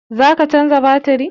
Za ka canza batiri?